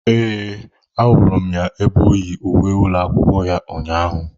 Ee, ahụrụ m ya ebe oyi uwe ụlọ akwụkwọ ya ụnyaahụ.